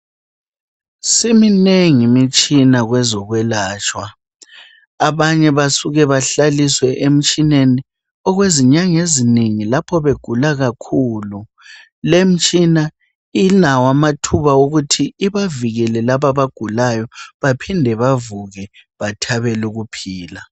Siminengi imitshina kwezokwelatshwa abanye basuka bahlaliswe emtshineni okwezinyanga ezinengi lapho begula kakhulu. Lemtshina ilawo amathuba okuthi ibavikele labo abagulayo baphinde bavuke bathabele ukuphila.